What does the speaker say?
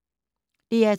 DR2